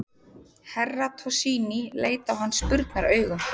Herra Toshizi leit á hann spurnaraugum.